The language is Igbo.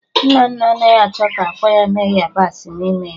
Nnanna anaghị achọ ka ákwà ya nwee yabasị n'ime ya